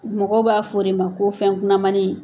Mɔgɔw b'a fɔ o de ma ko fɛnkunamani.